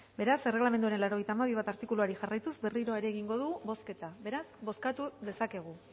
beraz erregelamenduaren laurogeita hamabi puntu bat artikuluari jarraituz berriro ere egingo dugu bozketa beraz bozkatu dezakegu